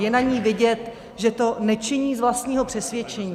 Je na ní vidět, že to nečiní z vlastního přesvědčení.